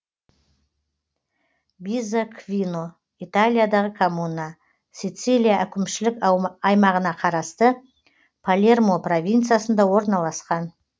бизаквино италиядағы коммуна сицилия әкімшілік аймағына қарасты палермо провинциясында орналасқан